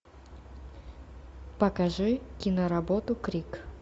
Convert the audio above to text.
покажи киноработу крик